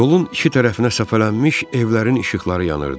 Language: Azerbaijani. Yolun iki tərəfinə səpələnmiş evlərin işıqları yanırdı.